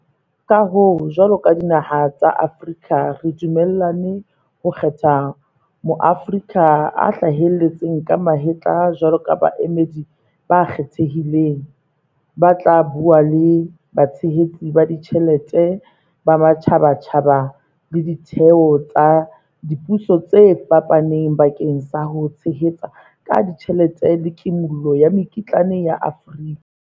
Ka hoo, jwalo ka dinaha tsa Afrika re dumellane ho kgetha Maaforika a hlaheletseng ka mahetla jwalo ka baemedi ba kgethehileng, ba tla bua le batshehetsi ba tjhelete ba matjhabatjhaba le ditheo tsa dipuso tse fapaneng bakeng sa ho tshehetsa ka tjhelete le kimollo ya mekitlane ya Afrika.